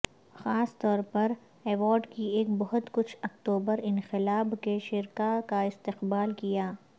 خاص طور پر ایوارڈ کی ایک بہت کچھ اکتوبر انقلاب کے شرکاء کا استقبال کیا